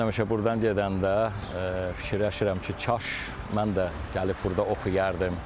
Mən həmişə burdan gedəndə fikirləşirəm ki, kaş mən də gəlib burda oxuyardım.